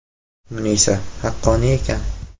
Munisa: Haqqoniy ekan.